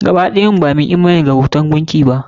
Gaba ɗayan mu ba mu yi imani da bauta gunki ba.